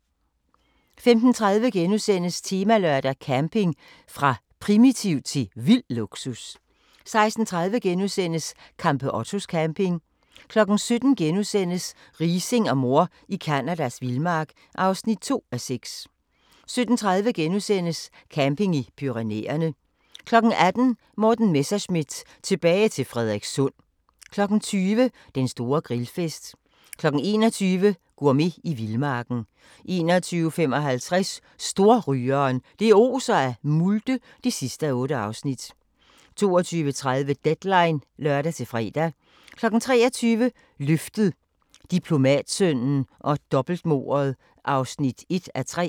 15:30: Temalørdag: Camping – fra primitivt til vild luksus * 16:30: Campeottos camping * 17:00: Riising og mor i Canadas vildmark (2:6)* 17:30: Camping i Pyrenæerne * 18:00: Morten Messerschmidt – tilbage til Frederikssund 20:00: Den store grillfest 21:00: Gourmet i vildmarken 21:55: Storrygeren – det oser af multe (8:8) 22:30: Deadline (lør-fre) 23:00: Løftet – Diplomatsønnen og dobbeltmordet (1:3)